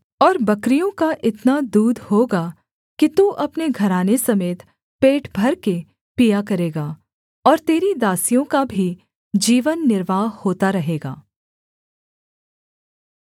और बकरियों का इतना दूध होगा कि तू अपने घराने समेत पेट भरकर पिया करेगा और तेरी दासियों का भी जीवन निर्वाह होता रहेगा